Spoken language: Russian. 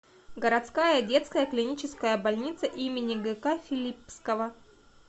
городская детская клиническая больница им гк филиппского